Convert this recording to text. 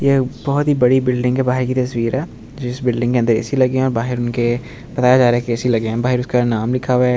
ये एक बहोत ही बड़ी बिल्डिंग के बहार की तस्वीर है जिस बिल्डिंग के अंदर ए_सी लगे हुए है और बहार उनके बताया जा रहा है कि ए_सी लगे हुआ है बहार उनका नाम लिखा हुआ हैं ।